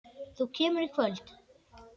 Þú kemur í kvöld!